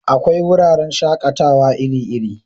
Akwai wuraren shakatawa iri iri